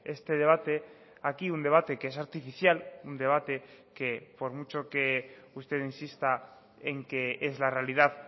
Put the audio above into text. este debate aquí un debate que es artificial un debate que por mucho que usted insista en que es la realidad